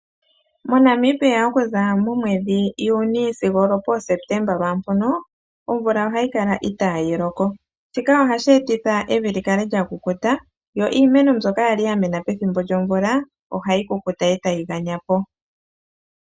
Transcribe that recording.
MoNamibia okuza muJuni sigo olwopooSeptemba lwaampono, omvula ohayi kala itaa yi loko. Shika ohashi etitha evi li kale lya kukuta, yo iimeno mbyoka ya li ya mena pethimbo lyomvula, ohayi kukuta e tayi ganya po.